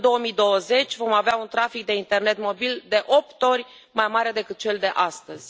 Până în 2020, vom avea un trafic de internet mobil de opt ori mai mare decât cel de astăzi.